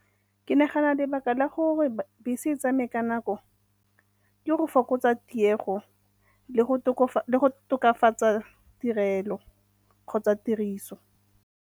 Ke nagana lebaka la gore bese e tsamaye ka nako ke go fokotsa tiego le go tokafatsa tirelo kgotsa tiriso.